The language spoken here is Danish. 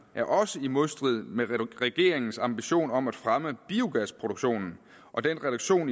er også i modstrid med regeringens ambitioner om at fremme biogasproduktionen og den reduktion